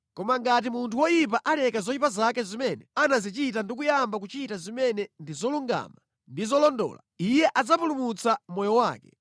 Koma ngati munthu woyipa aleka zoyipa zake zimene anazichita ndi kuyamba kuchita zimene ndi zolungama ndi zolondola, iye adzapulumutsa moyo wake.